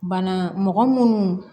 Bana mɔgɔ munnu